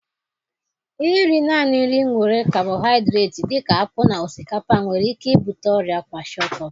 Iri naanị nri nwere kabohaịdret dị ka akpụ na osikapa nwere ike ibute ọrịa kwashiorkor